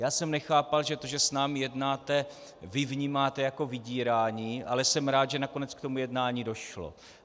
Já jsem nechápal, že to, že s námi jednáte, vy vnímáte jako vydírání, ale jsem rád, že nakonec k tomu jednání došlo.